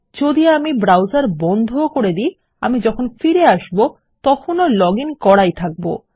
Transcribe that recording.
যদি আমি ব্রাউসার বন্ধ ও করে দি আমি যখন ফিরে এসব তখন ও লগ ইন করাই থাকব